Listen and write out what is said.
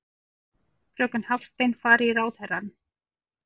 Fröken Hafstein fari í ráðherrann.